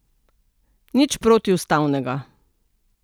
Nič protiustavnega.